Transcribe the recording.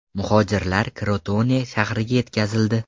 Muhojirlar Krotone shahriga yetkazildi.